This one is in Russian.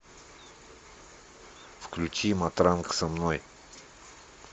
включи матранг со мной